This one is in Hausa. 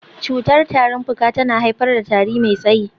Cutar tarin fuka tana haifar da tari mai tsayi.